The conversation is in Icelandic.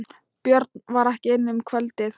Björn var ekki inni um kvöldið.